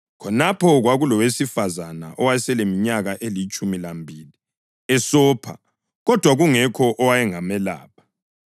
Khonapho kwakulowesifazane owayeseleminyaka elitshumi lambili esopha kodwa kungekho owayengamelapha.